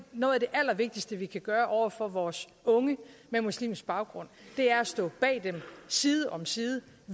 noget af det allervigtigste vi kan gøre over for vores unge med muslimsk baggrund er at stå bag dem side om side